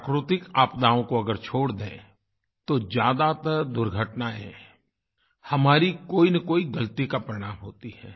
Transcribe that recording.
प्राकृतिक आपदाओं को अगर छोड़ दें तो ज़्यादातर दुर्घटनाएँ हमारी कोईनकोई गलती का परिणाम होती हैं